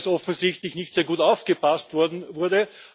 Sie zeigt, dass offensichtlich nicht sehr gut aufgepasst wurde.